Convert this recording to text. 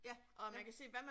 Ja ja